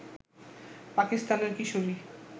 পাকিস্তানের কিশোরী